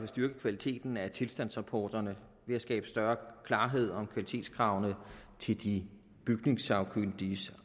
styrket kvaliteten af tilstandsrapporterne ved at skabe større klarhed om kvalitetskravene til de bygningssagkyndiges